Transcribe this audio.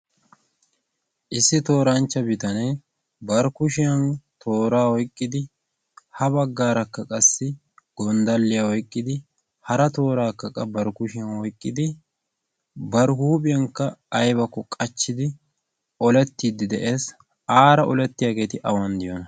issi tooranchcha bitaanee bari kuushiyaan tooraa oyqqidi ha baggaara qassi gonddaliyaa oykkidi hara toorakka qassi tooraa oyqqidi ba huuphphiyaankka aybakko qaachchidi olleettidi de"ees. aara olletiyaageti awan de'iyoonaa?